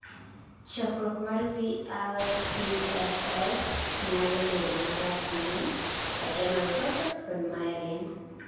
chokruok mar VLCFAs nyalo bedo marachni adrenal cortex kod myelin.